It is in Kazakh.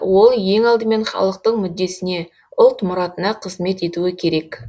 ол ең алдымен халықтың мүддесіне ұлт мұратына қызмет етуі керек